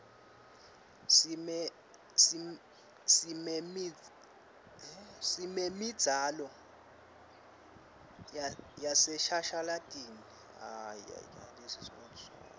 simemidzalo yaseshashalntini